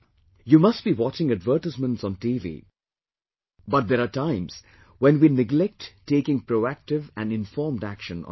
You must be watching advertisements on TV but there are times when we neglect taking proactive and informed action on it